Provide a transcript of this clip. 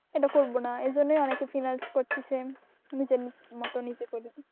এটা করব না এজন্যই অনেকে finance করতেছে নিজের মতো নিজে করব।